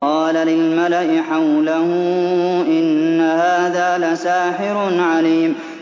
قَالَ لِلْمَلَإِ حَوْلَهُ إِنَّ هَٰذَا لَسَاحِرٌ عَلِيمٌ